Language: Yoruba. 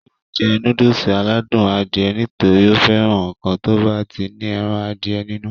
yóò jẹ núdùsì aládùn Adìẹ nítorí ó fẹ́ràn ǹkan tó bá ti ní ẹran Adìẹ nínú